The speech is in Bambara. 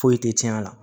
Foyi tɛ tiɲɛ a la